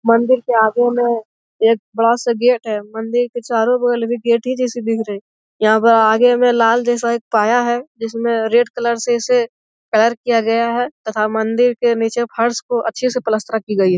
मंदिर के आगे में एक बड़ा सा गेट है । मंदिर के चारो बगल में गेट इ जैसे देख रहे हैं । आगे में लाल जैसा एक पाया है । जिसमें रेड कलर से इसे कलर किया गया तथा मंदिर के नीचे फर्श को अच्छे से प्लास्टर की गई --